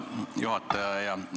Hea juhataja!